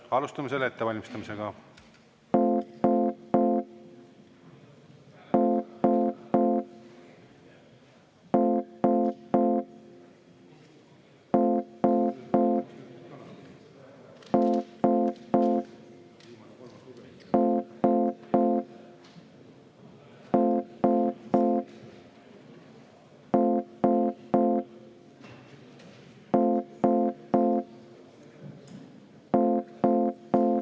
Alustame selle ettevalmistamist.